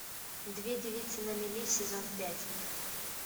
две девицы на мели сезон пять